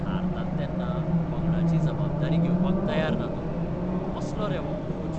हारतात तेन्ना पंगडाची जबाबदारी घेवपाक तयार ना तो, कसलो रे हो कोच!